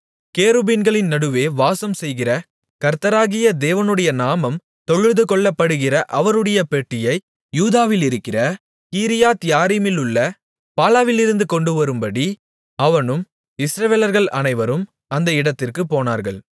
கேருபீன்களின் நடுவே வாசம்செய்கிற கர்த்தராகிய தேவனுடைய நாமம் தொழுதுகொள்ளப்படுகிற அவருடைய பெட்டியை யூதாவிலிருக்கிற கீரியாத்யாரீமிலுள்ள பாலாவிலிருந்து கொண்டுவரும்படி அவனும் இஸ்ரவேலர்கள் அனைவரும் அந்த இடத்திற்குப் போனார்கள்